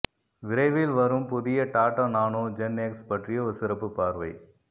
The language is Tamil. விரைவில் வரும் புதிய டாடா நானோ ஜென்எக்ஸ் பற்றிய ஒரு சிறப்பு பார்வை